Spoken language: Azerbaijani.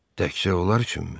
Təkcə onlar üçünmü?